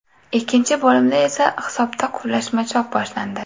Ikkinchi bo‘limda esa hisobda quvlashmachoq boshlandi.